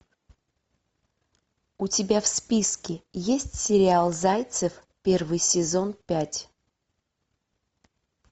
у тебя в списке есть сериал зайцев первый сезон пять